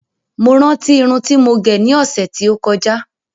Mo rántí Irun ti mo gẹ̀ ní ọsẹ ti o kọjá